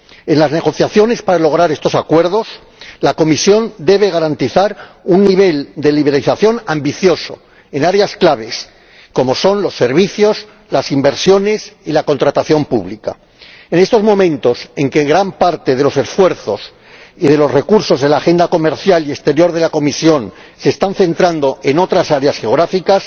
En las negociaciones para lograr estos acuerdos, la Comisión debe garantizar un nivel de liberalización ambicioso en áreas claves, como son los servicios, las inversiones y la contratación pública. En estos momentos en que gran parte de los esfuerzos y de los recursos de la agenda comercial y exterior de la Comisión se están centrando en otras áreas geográficas,